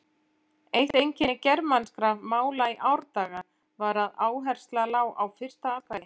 Nú teljast deilitegundir tígrisdýra vera sex talsins en þrjár deilitegundir eru útdauðar.